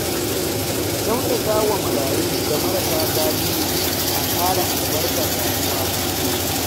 Kyautata wa marayu da marasa galihu na ƙara albarkar rayuwa.